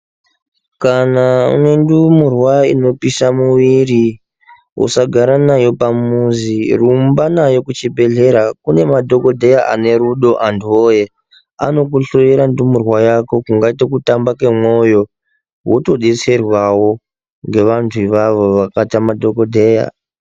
Kana une ndumurwa inopisha muwiri usagara nayo pamuzi rumba nayo kuchibhedhlera kune madhokodheya ane rudo antuwoye anokuhloyera ndumurwa yako kungaite kutamba kwemwoyo wotodetserwawo ngevantu ivavo vakaita madhokodheya.